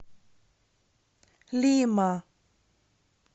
лима